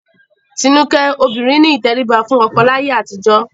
Tinúkẹ́, obìnrin ní ìtẹríba fún ọkọ láyé àtijọ́